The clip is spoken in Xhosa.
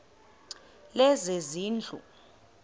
lezezindlu